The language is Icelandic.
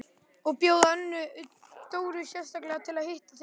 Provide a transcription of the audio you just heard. Og bjóða Önnu Dóru sérstaklega til að hitta þig!